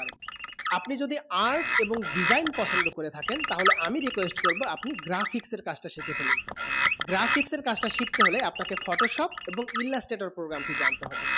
আপনি যদি art এবং design পচন্দ করে থাকেন তাহলে আমি request করবো আপনি graphics এর কাজ তা শিখে ফেলুন graphics এর কাজ তা শিখতে হলে আপনা কে photoshop এবং illustrator programme টি জানতে হবে